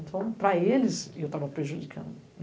Então, para eles, eu estava prejudicando.